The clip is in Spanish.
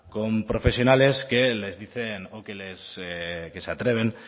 con profesionales que les dicen o que se atreven